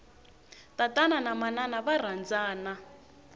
tatana na manana va rhandzana